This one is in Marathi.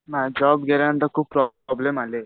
नाही जॉब गेल्यांनतर खूप प्रॉब्लेम आले.